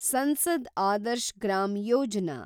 Sansad Adarsh Gram Yojana